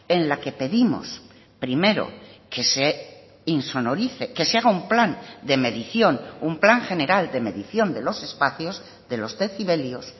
en la que pedimos primero que se insonorice que se haga un plan de medición un plan general de medición de los espacios de los decibelios